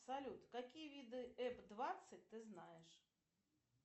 салют какие виды эп двадцать ты знаешь